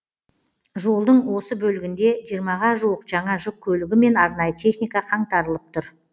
жолдың осы бөлігінде жиырмаға жуық жаңа жүк көлігі мен арнайы техника қаңтарылып тұр